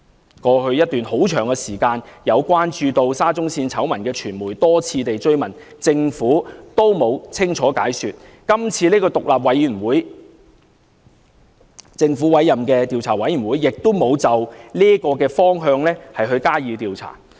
在過去一段很長時間，有關注沙中線醜聞的傳媒曾多次追問，政府也沒有清楚解說，今次由政府委任的獨立調查委員會亦沒有循這個方向加以調查。